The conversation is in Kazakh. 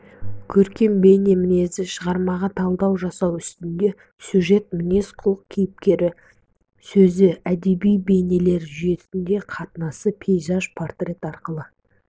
көркем бейне мінезі шығармаға талдау жасау үстінде сюжет мінезқұлық кейіпкер сөзі әдеби бейнелер жүйесінің қатынасы пейзаж портрет арқылы